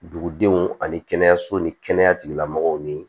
Dugudenw ani kɛnɛyaso ni kɛnɛya tigilamɔgɔw ni